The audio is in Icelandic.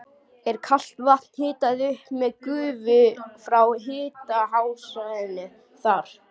Er kalt vatn hitað upp með gufu frá háhitasvæðinu þar.